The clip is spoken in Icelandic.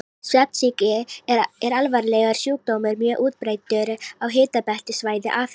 Svefnsýki er alvarlegur sjúkdómur, mjög útbreiddur á hitabeltissvæði Afríku.